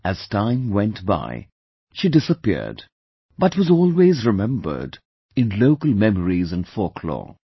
As time went by, she disappeared, but was always remembered in local memories and folklore